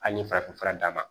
Ali farafinfura d'a ma